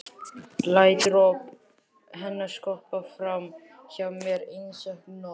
Læt hróp hennar skoppa fram hjá mér einsog knött.